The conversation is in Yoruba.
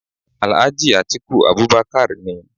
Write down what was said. Alhaji Atiku Abubakar ni.